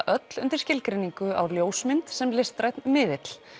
öll undir skilgreiningu á ljósmynd sem listrænn miðill